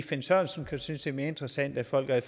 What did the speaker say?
finn sørensen synes er mere interessant at folk er i